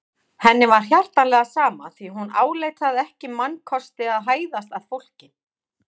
Henni var hjartanlega sama því hún áleit það ekki mannkosti að hæðast að fólki.